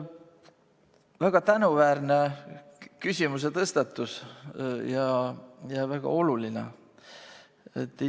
Väga tänuväärne ja väga oluline küsimuse tõstatus.